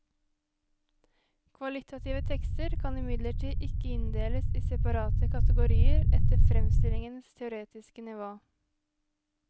Kvalitative tekster kan imidlertid ikke inndeles i separate kategorier etter fremstillingens teoretiske nivå.